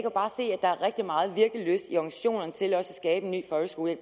der også er rigtig meget virkelyst i organisationerne til at skabe en ny folkeskole